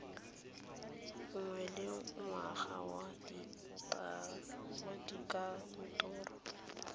nngwe le nngwe ya dikantoro